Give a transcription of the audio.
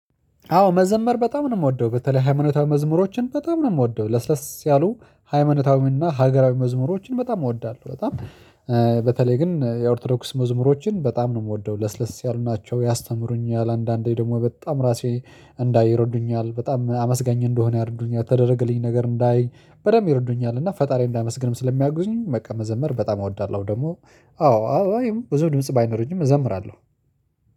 አዎ መዘመር በጣም ነው የምወደው። በተለይ ሃይማኖታዊ መዝሙሮችን በጣም ነው የምወደው። ለስለስ ያሉ ሃይማኖታዊና ሀገራዊ መዝሙሮችን በጣም እወዳለሁ። በጣም ግን የኦርቶዶክስ መዝሙሮችን በጣም ነው የምወደው። ለስለስ ያሉ ናቸው፣ ያስተምሩኛል፣ አንዳንዴ ደግሞ በጣም ራሴ እንዳይ ይረዱኛል፣ በጣም አመስጋኝ እንድሆን ይረዱኛል፣ የተደረገልኝ ነገር እንዳይ በደንብ ይረዱኛል። እና ፈጣሪ እንዳመሰግንም ስለሚያግዙኝ በቃ መዘመር በጣም እወዳለሁ። ደግሞ አዎ አዎ ብዙ ድምጽ ባይኖረኝም እዘዘምራለሁ።